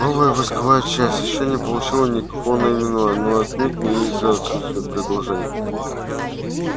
новая войсковая часть ещё не получила никакого наименования но отнюдь не из-за отсутствия предложений